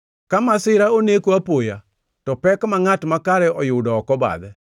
Ka masira oneko apoya, to pek ma ngʼat makare oyudo ok obadhe.